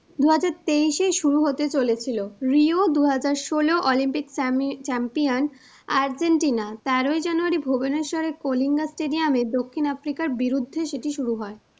দু হাজার তেইশেই শুরু হতে চলেছিল, রিও দু হাজার ষোলো অলিম্পিক championArgentina তেরোই জানুয়ারী Bhubaneswar রে কলিঙ্গা stadium এ দক্ষিণ আফ্রিকার বিরুদ্ধে সেটি শুরু হয়।